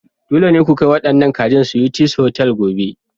Dole ne ku kai waɗannan kajin Sweeties Hotels gobe!